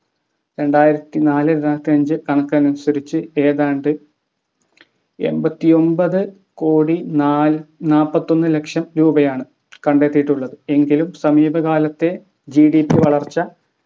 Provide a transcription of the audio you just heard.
രണ്ടായിരത്തി നാല് രണ്ടായിരത്തി അഞ്ച് കണക്ക് അനുസരിച്ച് ഏതാണ്ട് എമ്പത്തി ഒമ്പതു കോടി നാല് നാല്പത്തൊന്ന് ലക്ഷം രൂപയാണ് കണ്ടെത്തിയിട്ടുള്ളത് എങ്കിലും സമീപകാലത്തെ gdp വളർച്ച